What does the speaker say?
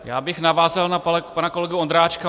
Já bych navázal na pana kolegu Ondráčka.